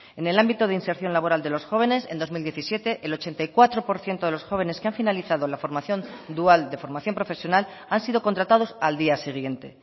en el ámbito de inserción laboral de los jóvenes en dos mil diecisiete el ochenta y cuatro por ciento de los jóvenes que han finalizado la formación dual de formación profesional han sido contratados al día siguiente